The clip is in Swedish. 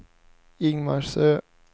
Ingmarsö